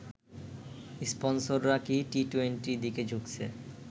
স্পন্সররা কি টি-টোয়েন্টি দিকে ঝুঁকছে